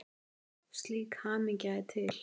Slík hamingja er til.